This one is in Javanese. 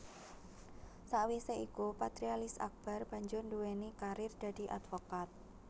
Sakwisé iku Patrialis Akbar banjur nduwéni karir dadi advokat